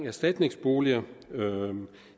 erstatningsboliger vil